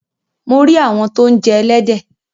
Mo rí àwọn tó ń jẹ ẹlẹ́dẹ̀.